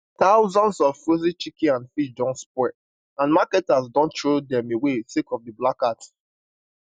thousands of frozen chicken and fish don spoil and marketers don throw dem away sake of di blackout